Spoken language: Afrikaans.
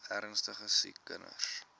ernstige siek kinders